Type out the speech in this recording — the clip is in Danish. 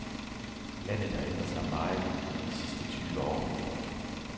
Landet har ændret sig meget i de sidste tyve år.